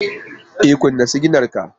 E, kunna siginar ka